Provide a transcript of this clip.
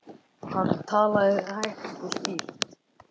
Hann talaði hægt og skýrt.